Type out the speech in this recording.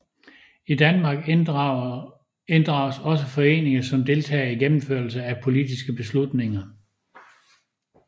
I Danmark inddrages også foreninger som deltagere i gennemførelsen af politiske beslutninger